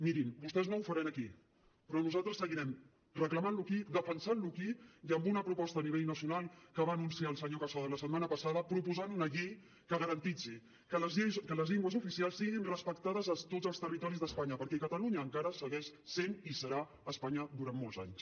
mirin vostès no ho faran aquí però nosaltres seguirem reclamant lo aquí defensant lo aquí i amb una proposta a nivell nacional que va anunciar el senyor casado la setmana passada proposant una llei que garanteixi que les llengües oficials siguin respectades a tots els territoris d’espanya perquè catalunya encara segueix sent i serà espanya durant molts anys